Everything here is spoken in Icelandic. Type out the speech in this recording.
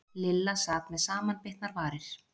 Lilla sat með samanbitnar varir.